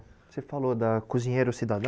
Você falou da Cozinheiro Cidadão?